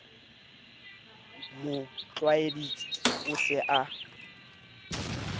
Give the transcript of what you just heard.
mo tlwaeditse o se a